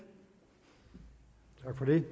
er